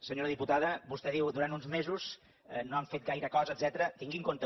senyora diputada vostè diu durant uns mesos no han fet gaire cosa etcètera